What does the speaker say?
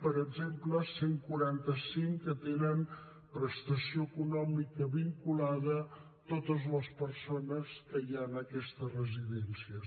per exemple cent i quaranta cinc tenen prestació econòmica vinculada a totes les persones que hi ha en aquestes residències